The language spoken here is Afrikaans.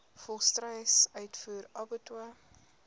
volstruis uitvoer abattoirs